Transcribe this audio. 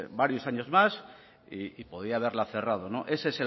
varios años más y podría haberla cerrado ese